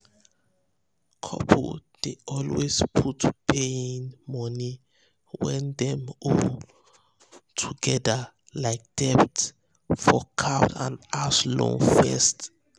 couples dey always put paying um money wey dem owe togedr like debt for um card and house loan first um